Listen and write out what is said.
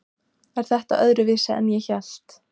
Er þetta öðruvísi en ég hélt?